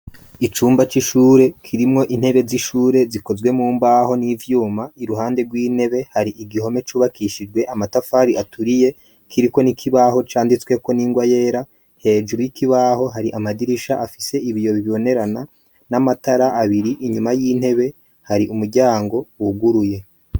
Icumba c'ishure kirimwo intebe z'ishure zikozwe mu mbaho n'ivyuma. Iruhande rw'intebe har'igihome cubakishijwe amatafari aturiye, kiriko n'ikibaho canditsweko n'ingwa yera. Hejuru y'ikibaho hari amadirisha afise ibiyobibonerana n'amatara abiri. Inyuma y'intebe hari umuryango wuguruye.